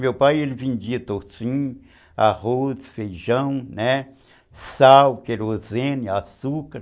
Meu pai vendia toicinho, arroz, feijão, sal, querosene, açúcar.